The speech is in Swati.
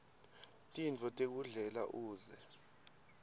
tintfo tekudlela uze